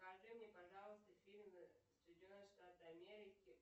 покажи мне пожалуйста фильм соединенные штаты америки